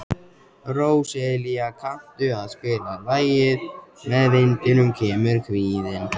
Róselía, kanntu að spila lagið „Með vindinum kemur kvíðinn“?